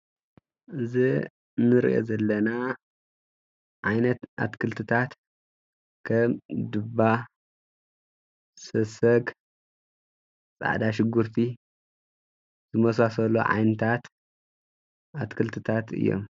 እዘ ንርእዮ ዘለና ዓይነት ኣትክልትታት ከም ዱባ፣ ሰሰግ ፃዕዳ፣ ሽጕርቲ ዝመሣሰሎ ዓይንታት ኣትክልትታት እዮም።